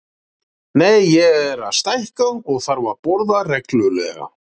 Nei, ég er að stækka og þarf að borða reglulega.